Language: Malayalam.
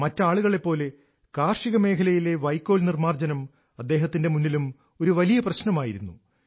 മറ്റ് ആളുകളെപ്പോലെ കാർഷിക മേഖലയിലെ വൈക്കോൽ നിർമാർജ്ജനം അദ്ദേഹത്തിന്റെ മുന്നിലും ഒരു വലിയ പ്രശ്നമായിരുന്നു